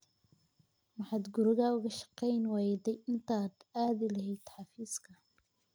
Maxaad guriga uga shaqayn wayday intaad aadi lahayd xafiiska?